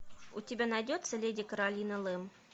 у тебя найдется леди каролина лэм